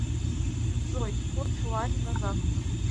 джой курс лари на завтра